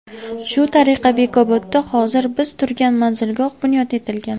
Shu tariqa Bekobodda hozir biz turgan manzilgoh bunyod etilgan.